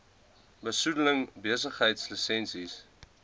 besoedeling besigheids lisensies